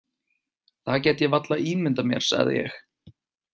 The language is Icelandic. Það get ég varla ímyndað mér, sagði ég.